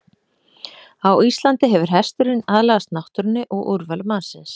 Á Íslandi hefur hesturinn aðlagast náttúrunni og úrvali mannsins.